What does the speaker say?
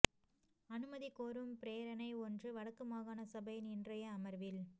அனுமதி கோரும் பிரேரணை ஒன்று வடக்கு மாகாண சபையின் இன்றைய அமர்வில்